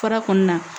Fara kɔni na